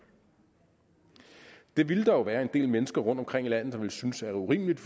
det vil der jo være en del mennesker rundtomkring i landet der vil synes er urimeligt